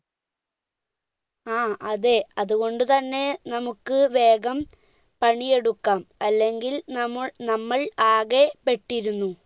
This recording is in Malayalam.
ആ അതെ അതുകൊണ്ട് തന്നെ നമ്മുക്ക് വേഗം പണിയെടുക്കാം അല്ലെങ്കിൽ നമ്മ നമ്മൾ ആകെ പെട്ടിരുന്നു